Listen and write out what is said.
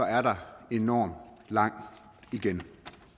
er der enormt langt igen